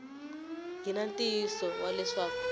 ri na ntiyiso wa leswaku